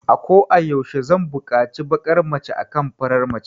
Ako a yaushe zan bukaci bakar mace akan farar mace